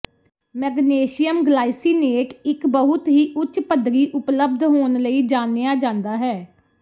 magnesium glycinate ਇੱਕ ਬਹੁਤ ਹੀ ਉੱਚ ਪੱਧਰੀ ਉਪਲੱਬਧ ਹੋਣ ਲਈ ਜਾਣਿਆ ਜਾਂਦਾ ਹੈ